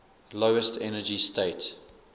lowest energy state